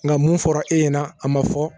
Nka mun fɔra e ɲɛna a ma fɔ